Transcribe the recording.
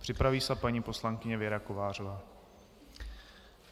Připraví se paní poslankyně Věra Kovářová.